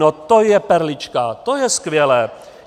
No to je perlička, to je skvělé.